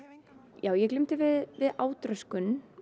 ég glímdi við átröskun